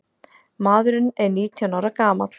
Maðurinn er nítján ára gamall.